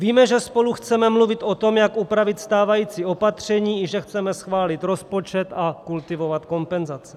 Víme, že spolu chceme mluvit o tom, jak upravit stávající opatření, i že chceme schválit rozpočet a kultivovat kompenzace.